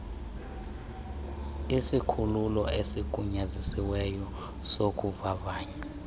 isikhululo esigunyazisiweyo sokuvavanya